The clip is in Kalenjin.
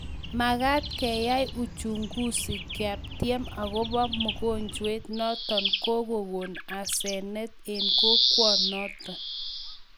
Makat koaiuchunguzi kaptien akopo mogonjwet notok kokokon asenet eng kokwonot.